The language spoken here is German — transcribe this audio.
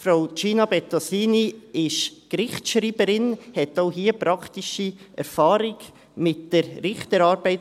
Frau Gina Bettosini ist Gerichtsschreiberin, hat damit praktische Erfahrung mit der Richterarbeit.